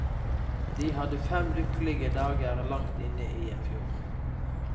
De hadde fem lykkelige dager langt inne i en fjord.